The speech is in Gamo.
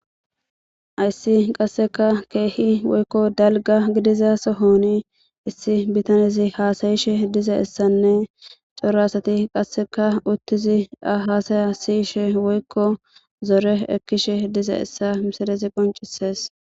Hayis qaseka kehi woy daliga gidida sohon issi betaneezi hasa'ishe dozayisane qas coora asati utidi eya hasaya si'ishe woyiko zore ekishe dizayisa misilezi qonicises